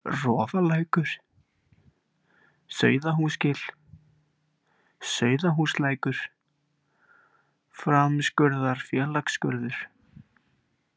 Rofalækur, Sauðahúsgil, Sauðahúslækur, Framskurðarfélagsskurður